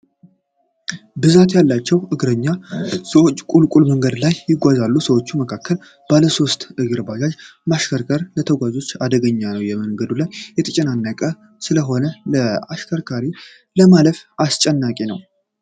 ብዛት ያላቸዉ እግረኛ ሰዎች ቁልቁልት መንገድ ላይ ይጓዛሉ። በሰዉ መካከል ባለ ሦስት እግር ባጃጅ ማሽከርከር ለተጓዦች አደገኛ ነዉ። መንገዱ የተጨናነቀ ስለሆነ ለተሽከርካሪ ለማለፍ አስጨናቂ ነዉ! ።